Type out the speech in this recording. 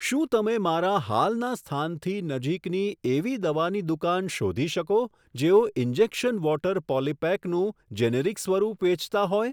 શું તમે મારા હાલના સ્થાનથી નજીકની એવી દવાની દુકાન શોધી શકો જેઓ ઇન્જેક્શન વોટર પોલિપેક નું જેનેરિક સ્વરૂપ વેચતા હોય?